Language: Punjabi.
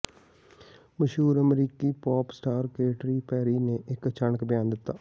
ਮਸ਼ਹੂਰ ਅਮਰੀਕੀ ਪੋਪ ਸਟਾਰ ਕੈਟਰੀ ਪੇਰੀ ਨੇ ਇੱਕ ਅਚਾਨਕ ਬਿਆਨ ਦਿੱਤਾ